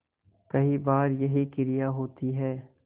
कई बार यही क्रिया होती है